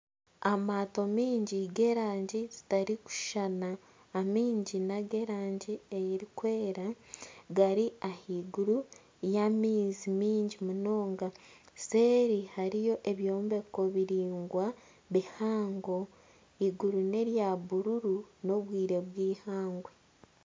Amaato mingi g'erangi zitarikushushana amaingi n'ag'erangi erikwera gari ahaiguru y'amaizi mingi munonga, seeri hariyo ebyombeko biraingwa bihango eiguru nerya buruuru n'obwire bw'eihangwe.